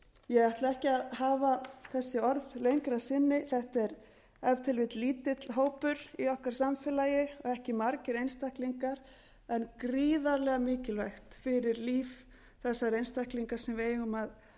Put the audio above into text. ég ætla ekki að hafa þessi orð lengri að sinni þetta er ef til vill lítill hópur í okkar samfélagi og ekki margir einstaklingar en gríðarlega mikilvægt fyrir líf þessara einstaklinga sem við eigum að taka